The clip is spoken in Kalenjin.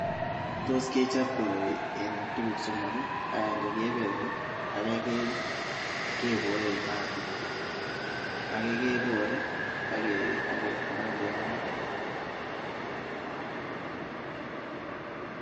Tos kechop koroi en tuguk somok ii, agenge kebelee, age keboe en maat age kebore ak kelal en maat.